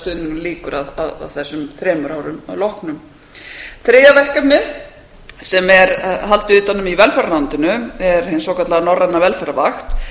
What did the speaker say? stuðningnum lýkur að þessum þremur árum loknum þriðja verkefnið sem er haldið utan um í velferðarráðuneytinu er hin svokallaða velferðarvakt